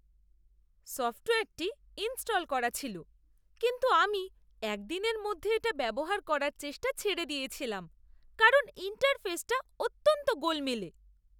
সফ্টওয়্যারটি ইনস্টল করা ছিল কিন্তু আমি এক দিনের মধ্যে এটা ব্যবহার করার চেষ্টা ছেড়ে দিয়েছিলাম কারণ ইন্টারফেসটা অত্যন্ত গোলমেলে।